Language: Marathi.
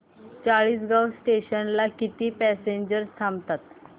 चाळीसगाव जंक्शन ला किती पॅसेंजर्स थांबतात